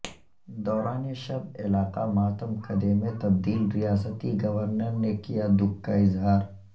دوران شب علاقہ ماتم کدے میں تبدیل ریاستی گورنر نے کیا دکھ کااظہار